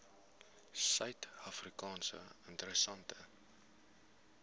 suid afrika interessante